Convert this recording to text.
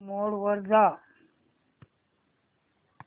movie mode वर जा